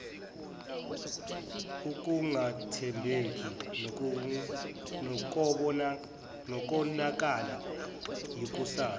ukungathembeki nokonakalelwa yikusasa